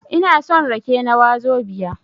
Ina son rake na wazobia